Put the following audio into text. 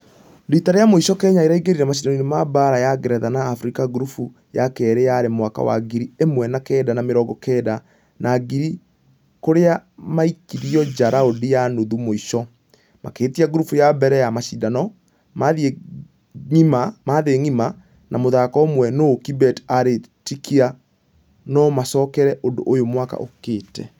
Rita rĩa mũico kenya ĩraingĩrire mashidano ma baara ya ngeretha na africa gurubu ya kerĩ yarĩ mwaka wa ngiri ĩmww na kenda na mĩrongo kenda na igĩrĩ kũrĩa maikirio nja raundi ya nuthu mũisho . Makĩhĩtia gurubu ya mbere ya mashidano mathĩ ngima na mũthako ũmwe nũ kibet nĩarĩtĩkia nũmacokere ũndũ ũyũ mwaka ũkĩte.